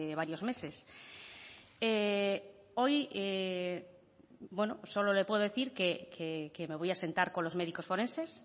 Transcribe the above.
varios meses hoy solo le puedo decir que me voy a sentar con los médicos forenses